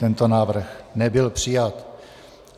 Tento návrh nebyl přijat.